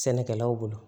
Sɛnɛkɛlaw bolo